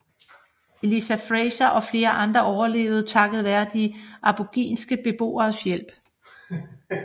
Eliza Fraser og flere andre overlevede takket være de aboriginske beboeres hjælp